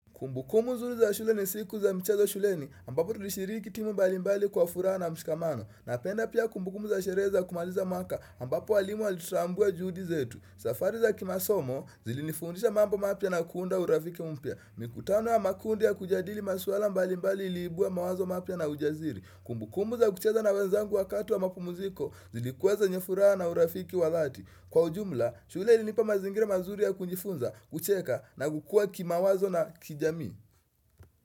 Kumbukumbu zuri za shule ni siku za mchezo shule ni, ambapo tulishiriki timu mbali mbali kwa furahas na mshikamano. Na penda pia kumbukumbu za sherehe za kumaliza mwaka ambapo walimu walitutambua juhudi zetu. Safari za kimasomo zilinifundisha mambo mapya na kuunda urafiki mpya. Mikutano ya makundi ya kujadili maswala mbali mbali iliibuwa mawazo mapya na ujasiri. Kumbukumu za kucheza na wenzangu wakati wa mapu muziko zilikuweze nye furaha na urafiki wadhati. Kwa ujumla, shuleili nipa mazingira mazuri ya kujifunza, kucheka na kukua ki mawazo na kijamii.